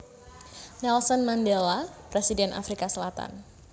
Nelson Mandela Presiden Afrika Selatan